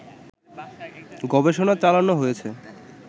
গবেষণা চালানো হয়েছে